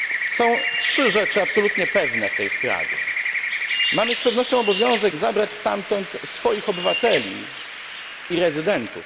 Są trzy rzeczy absolutnie pewne w tej sprawie. Mamy z pewnością obowiązek zabrać stamtąd swoich obywateli i rezydentów.